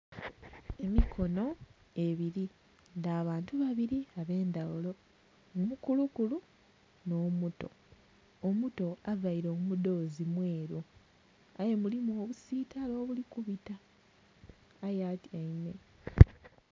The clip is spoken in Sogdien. Emikono ebiri dha bantu babiri abe'ndhaghulo omukulu kulu nho muto, omuto avaire omudhozi mweru aye gulimu obusitale obuli kubita aye atyaime.